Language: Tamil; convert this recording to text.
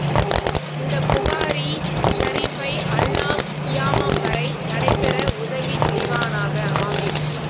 இந்த புகாரி ஷரீபை அல்லாஹ் கியாமம் வரை நடை பெற உதவி செய்வானாக ஆமீன்